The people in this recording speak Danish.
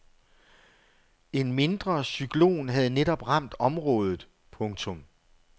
En mindre cyklon havde netop ramt området. punktum